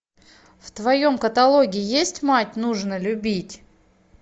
в твоем каталоге есть мать нужно любить